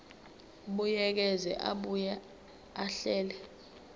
buyekeza abuye ahlele